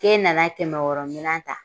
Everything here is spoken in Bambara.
Ke nana kɛmɛ wɔɔrɔ minɛ ta